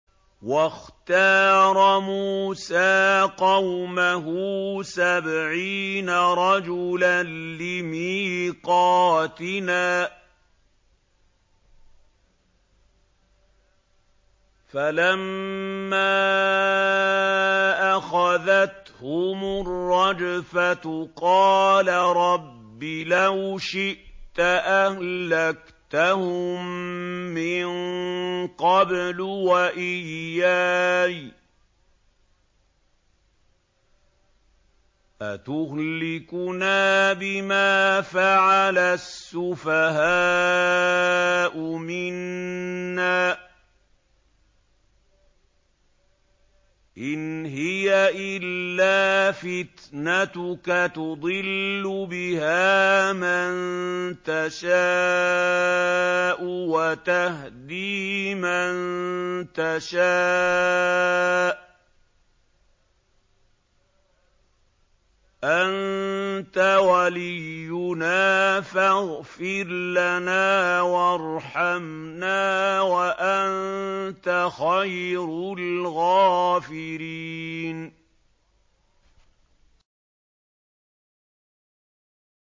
وَاخْتَارَ مُوسَىٰ قَوْمَهُ سَبْعِينَ رَجُلًا لِّمِيقَاتِنَا ۖ فَلَمَّا أَخَذَتْهُمُ الرَّجْفَةُ قَالَ رَبِّ لَوْ شِئْتَ أَهْلَكْتَهُم مِّن قَبْلُ وَإِيَّايَ ۖ أَتُهْلِكُنَا بِمَا فَعَلَ السُّفَهَاءُ مِنَّا ۖ إِنْ هِيَ إِلَّا فِتْنَتُكَ تُضِلُّ بِهَا مَن تَشَاءُ وَتَهْدِي مَن تَشَاءُ ۖ أَنتَ وَلِيُّنَا فَاغْفِرْ لَنَا وَارْحَمْنَا ۖ وَأَنتَ خَيْرُ الْغَافِرِينَ